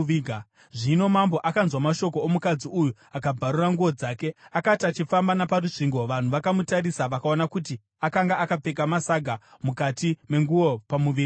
Zvino mambo akanzwa mashoko omukadzi uyu, akabvarura nguo dzake. Akati achifamba naparusvingo, vanhu vakamutarisa, vakaona kuti akanga akapfeka masaga mukati menguo, pamuviri wake.